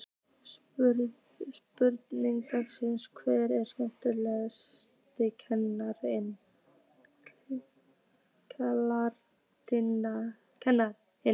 Spurning dagsins: Hver er skemmtilegasti karakterinn?